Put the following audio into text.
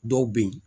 Dɔw bɛ yen